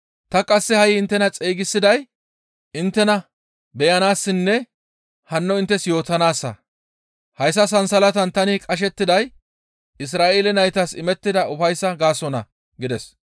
Ta qasse ha7i inttena xeygisiday inttena beyanaassinne hanno inttes yootanaassa; hayssa sansalatan tani qashettiday Isra7eele naytas imettida ufayssaa gaasonna» gides.